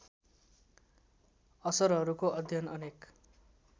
असरहरूको अध्ययन अनेक